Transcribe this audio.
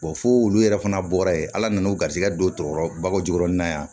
fo wulu yɛrɛ fana bɔra yen ala nana u garisigɛ don tɔɔrɔ ba jogoni na yan